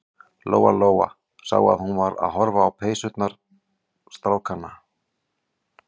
Lóa-Lóa sá að hún var að horfa á peysurnar strákanna.